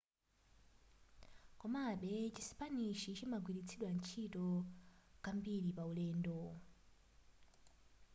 komabe chisipanishi chimagwiritsidwanso ntchito kwambiri paulendo